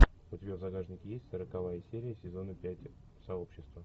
у тебя в загашнике есть сороковая серия сезона пять сообщество